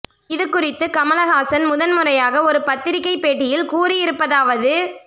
இது குறித்து கமல்ஹாசன் முதன்முறையாக ஒரு பத்திரிக்கை பேட்டியில் கூறி இருப்பதாவது